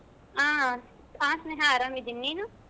ಹಾ ಹಾ ಸ್ನೇಹಾ ಆರಾಮಿದ್ದಿನಿ. ನೀನು?